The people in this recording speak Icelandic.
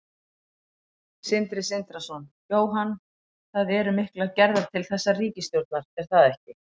Sindri Sindrason: Jóhann, það eru miklar gerðar til þessarar ríkisstjórnar er það ekki?